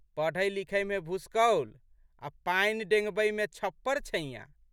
पढ़ैलिखैमे भुसकौल आ' पानि डेंगबैमे छप्परछैंयाँ।